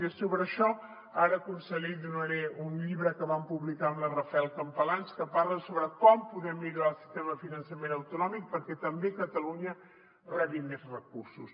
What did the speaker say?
miri sobre això ara conseller li donaré un llibre que vam publicar amb la rafael campalans que parla sobre com podem millorar el sistema de finançament autonòmic perquè també catalunya rebi més recursos